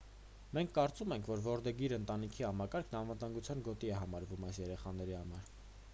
մենք կարծում ենք որ որդեգիր ընտանիքի համակարգն անվտանգության գոտի է համարվում այս երեխաների համար